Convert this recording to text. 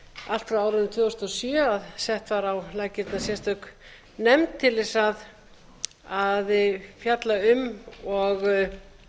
allt frá árinu tvö þúsund og sjö að sett var á laggirnar sérstök nefnd til þess að fjalla um og